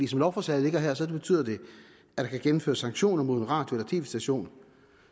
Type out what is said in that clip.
som lovforslaget ligger her betyder det at der kan gennemføres sanktioner mod en radio eller tv station